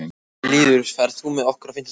Lýður, ferð þú með okkur á fimmtudaginn?